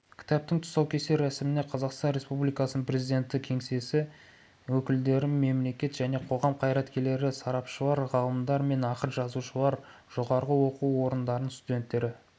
кітаптың тұсаукесер рәсіміне қазақстан республикасының президенті кеңсесі өкілдері мемлекет және қоғам қайраткерлері сарапшылар ғалымдар мен ақын-жазушылар жоғары оқу орындарының студенттері